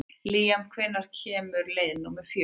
Líam, hvenær kemur leið númer fjörutíu?